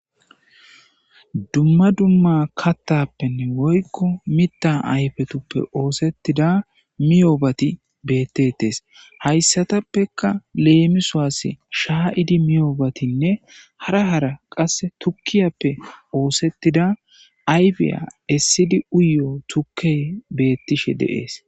Dumma dumma kattappenne woykko mitta ayfetuppe oosettida miyoobati bettetes hayssatappeka leemisuaase shaa,idi miyoobatinne hara hara qasse tukkiyappe oosettida ayfiya issidi uyo tukke beettishe deees.